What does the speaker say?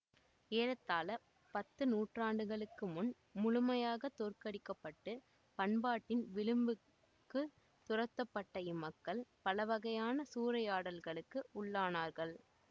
ஏறத்தாழ பத்து நூற்றாண்டுகளுக்குமுன் முழுமையாக தோற்கடிக்கப்பட்டு பண்பாட்டின் விளிம்புக்குத் துரத்தப்பட்ட இம்மக்கள் பலவகையான சூறையாடல்களுக்கு உள்ளானார்கள்